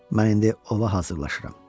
Mən indi ova hazırlaşıram.